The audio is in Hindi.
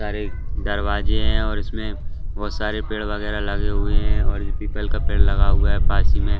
सारे दरवाजे हैं और इसमें बहुत सारे पेड़ वगैरा लगे हुए हैं और इसमें एप्पल का पेड़ लगा हुआ है बाजू मे--